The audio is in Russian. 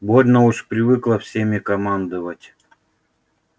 больно уж привыкла всеми командовать